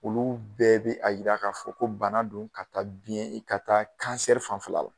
Olu bɛɛ bi a yira ka fɔ ko bana don ka taa biɲɛ ka taa fan fɛla la.